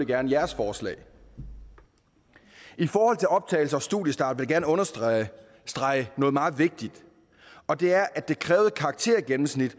gerne jeres forslag i forhold til optagelse og studiestart vil jeg gerne understrege noget meget vigtigt og det er at det krævede karaktergennemsnit